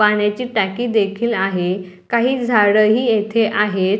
पाण्याची टाकी देखील आहे काही झाडं ही येथे आहेत.